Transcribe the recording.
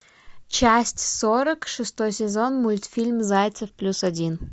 часть сорок шестой сезон мультфильм зайцев плюс один